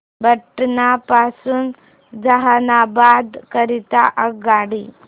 पटना पासून जहानाबाद करीता आगगाडी